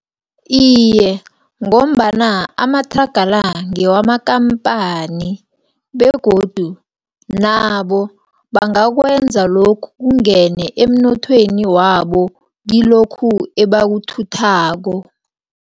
Iye, ngombana amathraga la, ngewamakampani, begodu nabo bangakwenzi lokhu kungene emnothweni wabo, kilokhu ebakuthuthako.